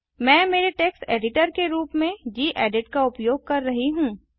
मैं मेरे text editor के रूप में गेडिट का उपयोग कर रहा हूँ